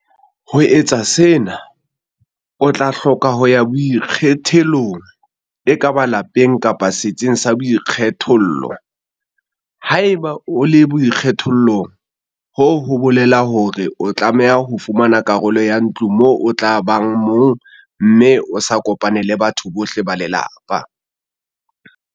Ho etsa sena, o tla hloka ho ya boikgethollong - ekaba lapeng kapa setsing sa boikgethollo."Haeba o le boikgethollong hoo ho bolela hore o tlameha ho fumana karolo ya ntlo moo o tla bang mong mme o sa kopane le batho bohle ba lelapa."